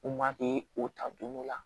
U ma k'i o ta don dɔ la